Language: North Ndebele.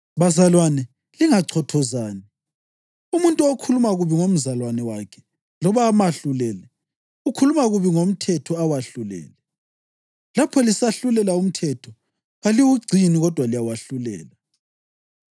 Bazalwane, lingachothozani. Umuntu okhuluma kubi ngomzalwane wakhe, loba amahlulele, ukhuluma kubi ngomthetho awahlulele. Lapho lisahlulela umthetho, kaliwugcini kodwa liyawahlulela.